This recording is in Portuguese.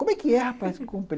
Como é que é, rapaz, que comprei?